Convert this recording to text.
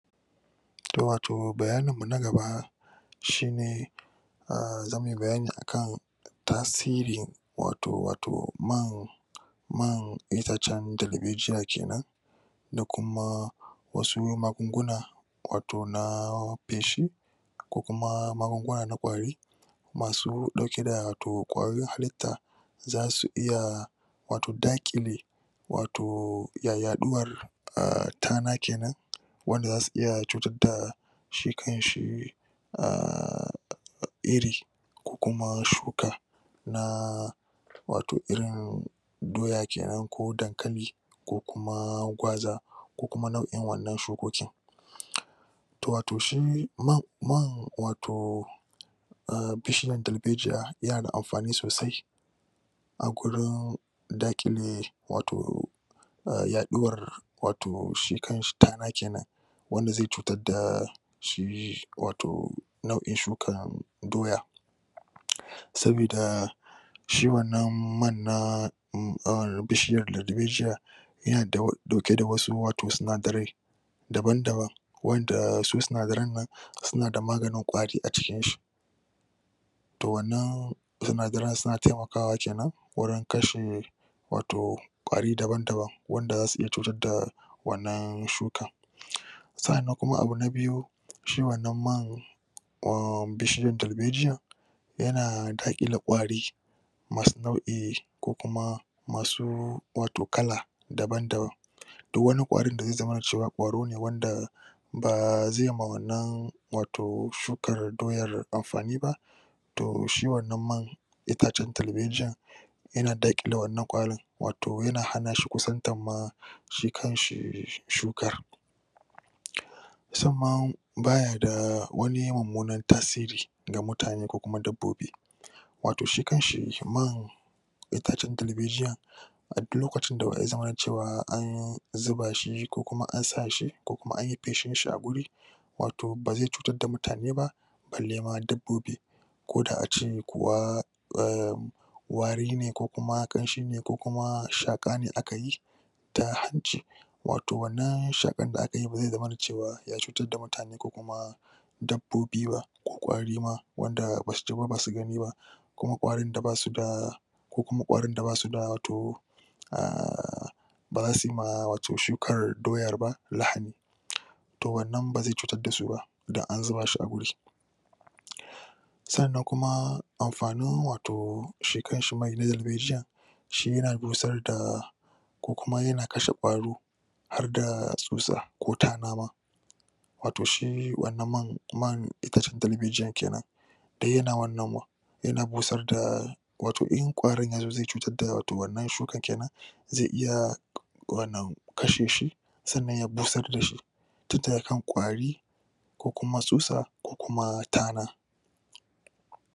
To wato bayanin mu na gaba shi ne um zamui bayani ne a kan tasiri wato wato man man itacen dalbejiya kenan da kuma wasu magugunguna wato na feshi ko kuma magunguna na ƙwari masu ɗauke da to ƙwayoyin hallita da zasu iya wato daƙile wato ya yaɗuwar um tana kenan wanda zasu iya cutar da shi kan shi um iri ko kuma shuka na wato irin doya kenan ko dankali ko kuma gwaza ko kuma nau'in wannan shukoki, to wato shi man man wato um bishiyan dalbejiya yana da amfani sosai a gurin daƙile wato um yaɗuwar wato shi kan shi tana kenan wanda zai cutar da shi wato nau'in shukan doya sabida shi wannan man na bishiyan dalbejiya yana ɗauke da wasu wato sinadarai daban-daban wanda su sinadaran nan suna da maganin ƙwari a cikin shi to wannan sinadaran suna taimakawa kenan wurin kashe wato ƙwari daban-daban wanda zasu iya cutar da wannan shuka, sa'an nan kuma abu na biyu shi wannan man um bishiyar dalbejiyar yana daƙile ƙwari masu nau'i ko kuma masu wato kala daban-daban duk wani ƙwarin da zai zamana cewa ƙwaro ne wanda bazai ma wannan wato shukar doyar amfani ba, to shi wannan man itacen dalbejiya yana daƙile wannan ƙwarin wato yana hana shi kusantan ma shi kan shi shukar, sannan bayada da wani mummunan tasiri ga mutane ko kuma dabbobi, wato shi kan shi man itacen dalbejiya a du lokacin da ya zamana cewa an zuba shi, ko kuma an sa shi, ko kuma an yi feshin shi a guri, wato bazai cutar da mutane ba balle ma dabbobi ko da a ce kuwa um wari ne ko kuma ƙanshi ne, ko kuma shaƙa ne aka yi ta hanci wato wannan shaƙar da aka yi bazai zamana cewa ya cutar da mutane ko kuma dabbobi ba, ko ƙwari ma wanda basu ji ba basu gani, ko ƙwarin da basu da ko kuma ƙwarin da basu da wato um baza su yi ma wato shukar doya ba lahani to wannan bazai cutar dasu ba, dan an zuba shi a guri, sannan kuma amfanin wato shi kan shi mai na dalbejiya shi yana busar da ko kuma yana kashe ƙwaro har da tsutsa ko tana ma, wato shi wannan man man itacen dalbejiyan kenan du yana wannan yana motsar da wato in ƙwarin yazo zai cutar da wato wannan shuka kenan zai iya wannan kashe shi sannan ya busar da shi tin daga kan ƙwari ko kuma tsutsa ko tana.